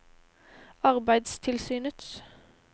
arbeidstilsynets